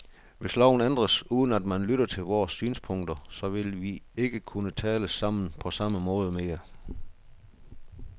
Hvis loven ændres, uden at man lytter til vores synspunkter, så vil vi ikke kunne tale sammen på samme måde mere.